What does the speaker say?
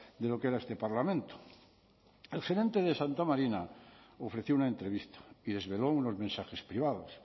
de lo que era este parlamento el gerente de santa marina ofreció una entrevista y desveló unos mensajes privados